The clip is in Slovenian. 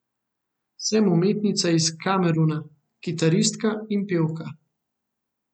Sem umetnica iz Kameruna, kitaristka in pevka.